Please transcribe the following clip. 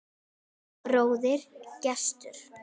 Þinn bróðir, Gestur.